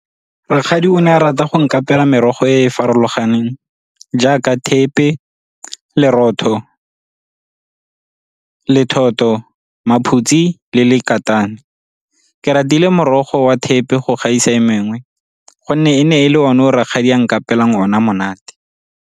Rakgadi o ne a rata go nkapeela merogo e e farologaneng jaaka thepe, lerotho, lethoto, maphutse le lekata. Ke ratile morogo wa thepe go gaisa e mengwe gonne e ne e le one o rakgadi a nkapeela ona monate.